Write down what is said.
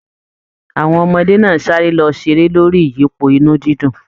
Àwọn ọmọdé náà sáré lọ seré lórí iyipo inú dídùn.